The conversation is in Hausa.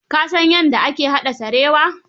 Ka san yadda ake haɗa sarewa?